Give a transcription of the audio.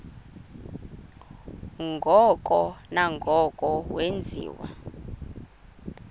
ngoko nangoko wenziwa